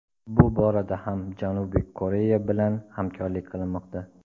Bu borada ham Janubiy Koreya bilan hamkorlik qilinmoqda.